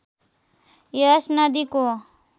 यस नदीको